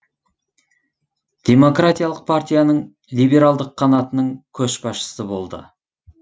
демократиялық партияның либералдық қанатының көшбасшысы болды